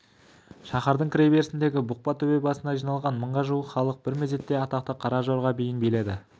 шаһардың кіреберісіндегі бұқпа төбе басына жиналған мыңға жуық халық бір мезетте атақты қара жорға биін биледі